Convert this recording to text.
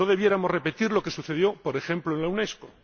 No debiéramos repetir lo que sucedió, por ejemplo, en la Unesco.